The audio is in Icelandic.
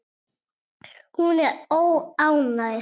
Hún er óánægð.